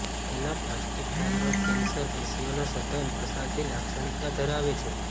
anaplastic thyroid cancer પેશીઓના સઘન પ્રસારથી લાક્ષણિકતા ધરાવે છે